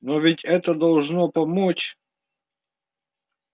но ведь это должно помочь